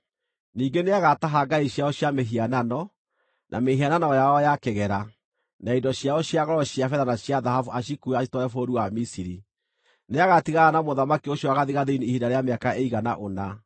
Ningĩ nĩagataha ngai ciao cia mĩhianano, na mĩhianano yao ya kĩgera, na indo ciao cia goro cia betha na cia thahabu acikuue acitware bũrũri wa Misiri. Nĩagatigana na mũthamaki ũcio wa gathigathini ihinda rĩa mĩaka ĩigana ũna.